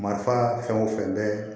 Marifa fɛn o fɛn bɛ